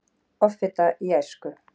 Offita í æsku